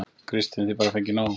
Kristinn: Og þið bara fengið nóg?